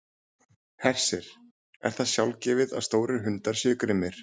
Hersir: Er það sjálfgefið að stórir hundar séu grimmir?